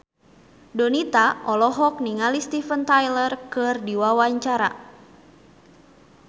Donita olohok ningali Steven Tyler keur diwawancara